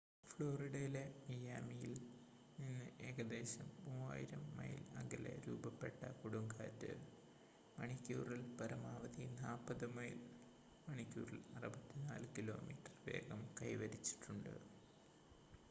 ഫ്ലോറിഡയിലെ മിയാമിയിൽ നിന്ന് ഏകദേശം 3,000 മൈൽ അകലെ രൂപപ്പെട്ട കൊടുങ്കാറ്റ് മണിക്കൂറിൽ പരമാവധി 40 മൈൽ മണിക്കൂറിൽ 64 കിലോമീറ്റർ വേഗം കൈവരിച്ചിട്ടുണ്ട്